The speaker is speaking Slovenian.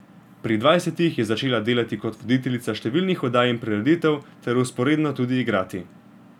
Pri dvajsetih je začela delati kot voditeljica številnih oddaj in prireditev ter vzporedno tudi igrati.